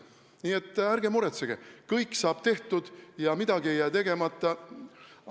Nii et ärge muretsege, kõik saab tehtud, midagi ei jää tegemata!